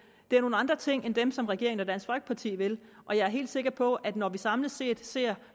det er nogle andre ting end dem som regeringen og dansk folkeparti vil og jeg er helt sikker på at når vi samlet set ser